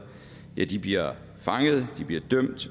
bliver fanget dømt